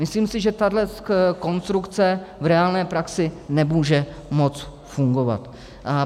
Myslím si, že tahle konstrukce v reálné praxi nemůže moc fungovat.